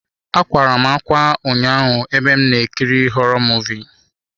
Akwara m ákwá ụnyaahụ ebe m na-ekiri họrọ Muvịị.